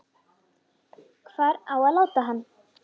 Hvar á að láta hann?